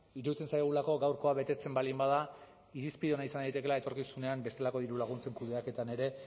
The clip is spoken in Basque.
iruditzen zaigulako gaurkoa betetzen baldin bada irizpide ona izan daitekeela etorkizunean bestelako diru laguntzen kudeaketan ere